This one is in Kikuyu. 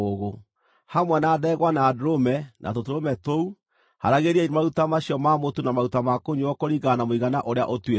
Hamwe na ndegwa na ndũrũme, na tũtũrũme tũu, haaragĩriai maruta macio ma mũtu na maruta ma kũnyuuo kũringana na mũigana ũrĩa ũtuĩtwo.